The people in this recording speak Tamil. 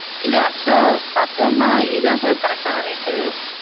இல்ல actual ஆ பாத்தோம்னா இதா sir correct டான rate.